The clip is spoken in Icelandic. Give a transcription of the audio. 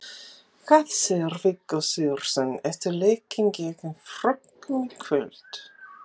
Hvað segir Viggó Sigurðsson eftir leikinn gegn Frökkum í kvöld?